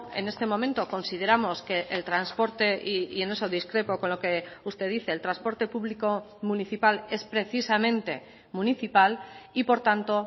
en este momento consideramos que el transporte y en eso discrepo con lo que usted dice el transporte público municipal es precisamente municipal y por tanto